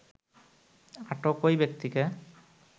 আটক ওই ব্যক্তিকে